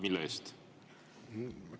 Mille eest?